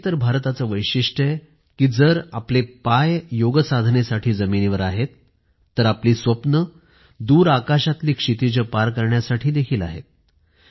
आणि हेच तर भारताचे वैशिष्ट्य आहे कि जर आपले पाय योगसाधनेसाठी जमिनीवर आहेत तर आपली स्वप्नं दूर आकाशातली क्षितिजे पार करण्यासाठी देखील आहेत